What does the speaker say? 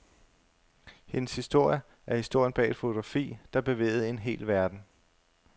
Hendes historie er historien bag et fotografi, der bevægede en hel verden.